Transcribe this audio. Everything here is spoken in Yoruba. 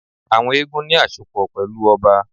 Àwọn eégún ní àsopọ̀ pẹ̀lú ọba